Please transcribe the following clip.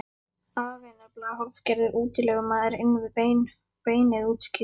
Afi er nefnilega hálfgerður útilegumaður inn við beinið útskýrði